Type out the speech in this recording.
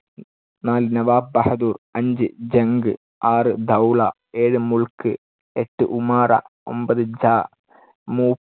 നാല് നവാബ് ബഹദൂർ. അഞ്ച് ജംഗ്, ആറ് ദൗള, ഏഴ് മുൾക്ക്, എട്ട് ഉമാറ, ഒമ്പത് ജാ. മൂ